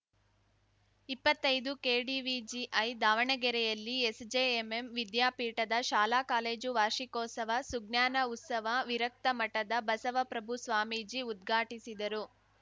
ಇಪ್ಪತ್ತೈದುಕೆಡಿವಿಜಿಐದು ದಾವಣಗೆರೆಯಲ್ಲಿ ಎಸ್‌ಜೆಎಂಎಂ ವಿದ್ಯಾಪೀಠದ ಶಾಲಾಕಾಲೇಜು ವಾರ್ಷಿಕೋತ್ಸವ ಸುಜ್ಞಾನ ಉತ್ಸವ ವಿರಕ್ತ ಮಠದ ಬಸವಪ್ರಭು ಸ್ವಾಮೀಜಿ ಉದ್ಘಾಟಿಸಿದರು